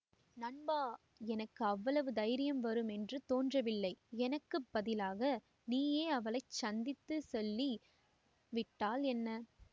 நண்பா எனக்கு அவ்வளவு தைரியம் வரும் என்று தோன்றவில்லை எனக்கு பதிலாக நீயே அவளைச் சந்தித்துச் சொல்லி விட்டால் என்ன